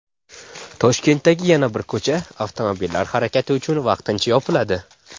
Toshkentdagi yana bir ko‘cha avtomobillar harakati uchun vaqtincha yopiladi.